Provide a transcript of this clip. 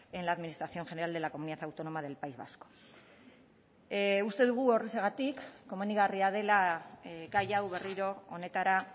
en la administración general de la comunidad autónoma del país vasco uste dugu horrexegatik komenigarria dela gai hau berriro honetara